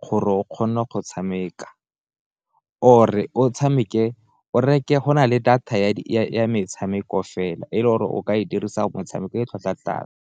gore o kgone go tshameka or e o tshameke o reke go na le data ya metshameko fela, e le gore o ka e dirisa motshameko e tlhwatlhwa tlase.